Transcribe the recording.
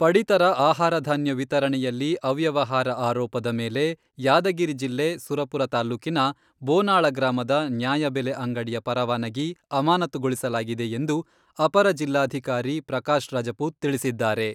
ಪಡಿತರ ಆಹಾರಧಾನ್ಯ ವಿತರಣೆಯಲ್ಲಿ ಅವ್ಯವಹಾರ ಆರೋಪದ ಮೇಲೆ ಯಾದಗಿರಿ ಜಿಲ್ಲೆ ಸುರಪುರ ತಾಲ್ಲೂಕಿನ ಬೋನಾಳ ಗ್ರಾಮದ ನ್ಯಾಯಬೆಲೆ ಅಂಗಡಿಯ ಪರವಾನಗಿ ಅಮಾನತುಗೊಳಿಸಲಾಗಿದೆ ಎಂದು ಅಪರ ಜಿಲ್ಲಾಧಿಕಾರಿ ಪ್ರಕಾಶ್ ರಜಪೂತ್ ತಿಳಿಸಿದ್ದಾರೆ.